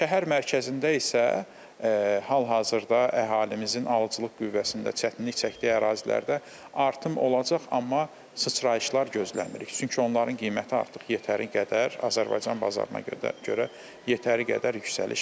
Şəhər mərkəzində isə hal-hazırda əhalimizin alıcılıq qüvvəsində çətinlik çəkdiyi ərazilərdə artım olacaq, amma sıçrayışlar gözləmirik, çünki onların qiyməti artıq yetəri qədər Azərbaycan bazarına görə yetəri qədər yüksəliş var.